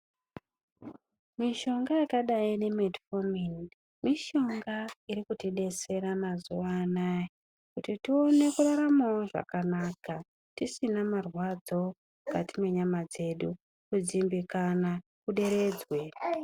Mishonga yakadai nge Metformin mishonga irikutidetsera mazuwa anaya, kuti tikone kuraramawo zvakanaka ,tisina marwadzo mukati mwenyama dzedu ,kudzimbikana kuderedzwe.